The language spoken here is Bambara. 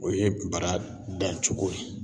O ye bara dancogo ye.